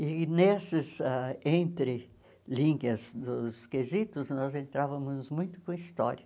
E nesses ah entrelinhas dos quesitos, nós entrávamos muito com história.